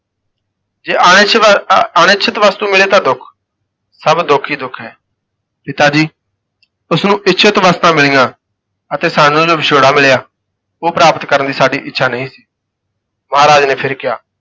ਜੇ ਅਣਇੱਛ ਵ ਅਣਇੱਛਿਤ ਵਸਤੂ ਮਿਲੇ ਤਾਂ ਦੁੱਖ, ਸਭ ਦੁੱਖ ਹੀ ਦੁੱਖ ਹੈ, ਪਿਤਾ ਜੀ ਉਸ ਨੂੰ ਇੱਛਿਤ ਵਸਤਾਂ ਮਿਲੀਆਂ ਅਤੇ ਸਾਨੂੰ ਜੋ ਵਿਛੋੜਾ ਮਿਲਿਆ ਉਹ ਪ੍ਰਾਪਤ ਕਰਨ ਦੀ ਸਾਡੀ ਇੱਛਾ ਨਹੀਂ ਸੀ, ਮਹਾਰਾਜ ਨੇ ਫਿਰ ਕਿਹਾ,